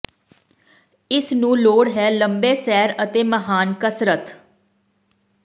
ਇਸ ਨੂੰ ਲੋੜ ਹੈ ਲੰਬੇ ਸੈਰ ਅਤੇ ਮਹਾਨ ਕਸਰਤ